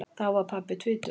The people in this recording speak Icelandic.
Þá var pabbi tvítugur.